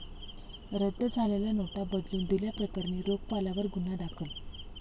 रद्द झालेल्या नोटा बदलून दिल्या प्रकरणी रोखपालावर गुन्हा दाखल